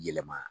Yɛlɛma